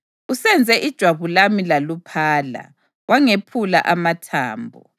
Usenze ijwabu lami laluphala, wangephula amathambo.